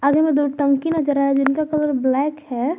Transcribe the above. आगे में दो टंकी नजर आ रहा है जिनका कलर ब्लैक है।